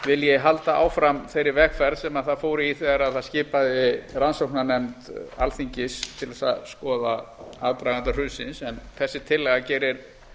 vilji halda áfram þeirri vegferð sem það fór í þegar það skipaði rannsóknarnefnd alþingis til þess að skoða aðdraganda hrunsins en þessi tillaga gerir